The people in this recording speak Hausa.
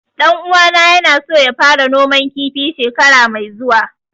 Ɗan uwana ya na so ya fara noman kifi shekara mai zuwa